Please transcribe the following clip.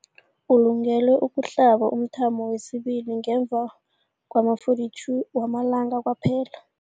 Ulungele ukuhlaba umthamo wesibili ngemva kwama-42 wamalanga kwaphela.